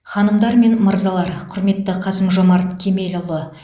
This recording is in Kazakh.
ханымдар мен мырзалар құрметті қасым жомарт кемелұлы